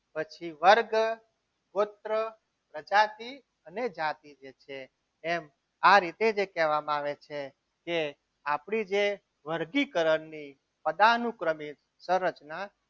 પછી વર્ગ ગોત્ર પ્રજાતિ અને જાતિ જેમ આ રીતે જે કહેવામાં આવે છે. કે આપણી જે વર્ગીકરણની અદા અનુક્રમિત શરતના